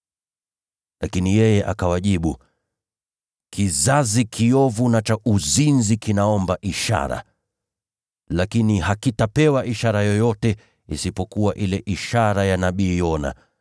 Lakini yeye akawajibu, “Kizazi kiovu na cha uzinzi kinaomba ishara! Lakini hakitapewa ishara yoyote isipokuwa ile ishara ya nabii Yona.